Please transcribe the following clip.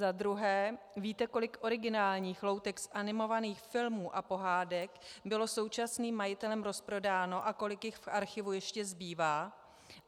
Za druhé: Víte, kolik originálních loutek z animovaných filmů a pohádek bylo současným majitelem rozprodáno a kolik jich v archivu ještě zbývá?